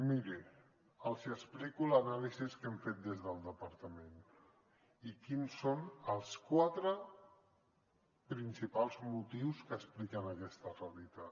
mirin els explico l’anàlisi que hem fet des del departament i quins són els quatre principals motius que expliquen aquesta realitat